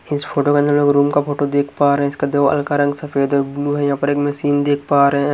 इस फोटो के अन्दर एक रूम का फोटो देख पा रहे है इसका दीवाल का रंग सफेद और ब्लू है यहां पर एक मशीन देख पा रहे है।